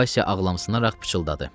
Vaysya ağlamsınaraq pıçıldadı.